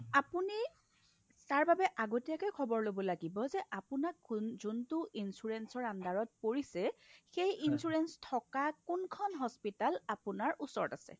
আপুনি তাৰ বাবে আগতীয়াকৈ খবৰ ল'ব লাগিব যে আপোনাক কোন যোনটো insurance ৰ underত পৰিছে সেই insurance থকা কোনখন hospital আপোনাৰ ওচৰত আছে